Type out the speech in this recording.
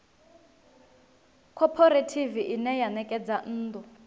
khophorethivi ine ya ṋekedza nnḓu